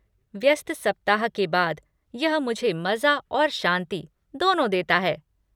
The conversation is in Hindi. व्यस्त सप्ताह के बाद यह मुझे मज़ा और शांति दोनों देता है।